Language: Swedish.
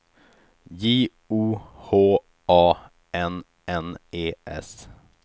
J O H A N N E S